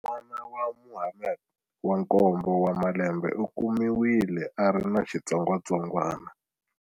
N'wana wa Mohammed wa nkombo wa malembe u kumiwile a ri na xitsongwatsongwana.